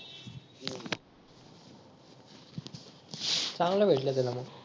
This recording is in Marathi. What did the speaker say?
चांगल भेटल त्याला मग